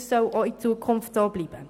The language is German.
Dies soll auch in Zukunft so bleiben.